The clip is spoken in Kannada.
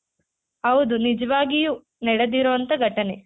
ಹೌದು ನಿಜವಾಗಿಯೂ ನಡೆದಿರುವಂತ ಘಟನೆ .